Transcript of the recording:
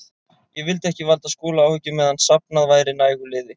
Ég vildi ekki valda Skúla áhyggjum meðan safnað væri nægu liði.